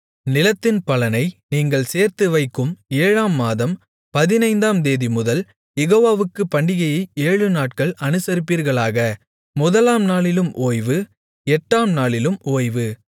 நிலத்தின் பலனை நீங்கள் சேர்த்து வைக்கும் ஏழாம் மாதம் பதினைந்தாம்தேதிமுதல் யெகோவாவுக்குப் பண்டிகையை ஏழுநாட்கள் அனுசரிப்பீர்களாக முதலாம் நாளிலும் ஓய்வு எட்டாம் நாளிலும் ஓய்வு